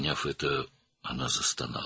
Və bunu anlayınca o, inlədi.